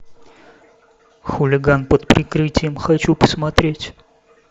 хулиган под прикрытием хочу посмотреть